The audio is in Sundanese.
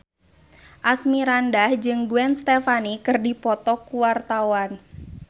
Asmirandah jeung Gwen Stefani keur dipoto ku wartawan